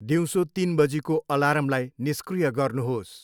दिउँसो तिन बजीको अलार्मलाई निष्क्रिय गर्नुहोस्।